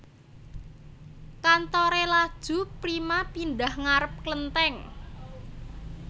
Kantore Laju Prima pindah ngarep klentheng